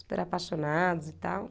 Super apaixonados e tal.